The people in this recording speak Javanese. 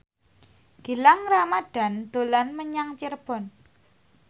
Gilang Ramadan dolan menyang Cirebon